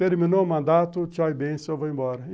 Terminou o mandato, tchau e bem-se, eu vou embora.